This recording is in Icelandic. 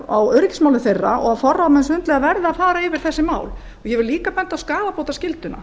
á öryggismálum þeirra og að forráðamenn sundlauga verði að fara yfir þessi mál ég bendi líka á skaðabótaskylduna